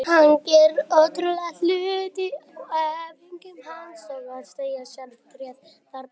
Hann gerir ótrúlega hluti á æfingum eins og að segja: Sérðu tréð þarna?